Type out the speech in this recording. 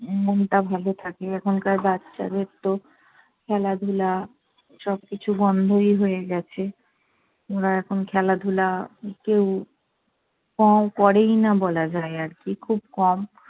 উম মনটা ভালো থাকে, এখনকার বাচ্চাদের তো খেলাধুলা সবকিছু বন্ধই হয়ে গেছে। ওরা এখন খেলাধুলা কেউ ক~ করেই না বলা যায় আর কী, খুব কম।